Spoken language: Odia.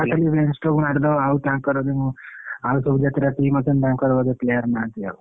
ନା ତମେ ମାରିଦବ ଆଉ ତାଙ୍କର ଆଉ ସବୁ ଯେତେଟା team ଅଛନ୍ତି ତାଙ୍କର ବୋଧେ player ନାହାନ୍ତି ଆଉ।